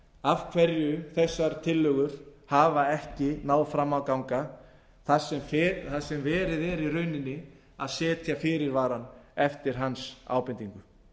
af hverju þessar tillögur hafa ekki náð fram að ganga þar sem verið er í rauninni að setja fyrirvara eftir hans ábendingu